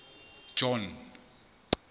john